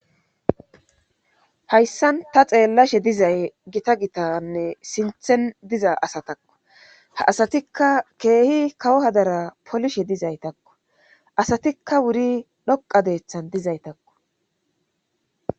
hayssan ta xeellashe dizay gita gitanne sinthen diza asatakko ha asatikka keehi kawo hadara polishe dizaytakko asatikka wuri dhoqa deethan dizaytakko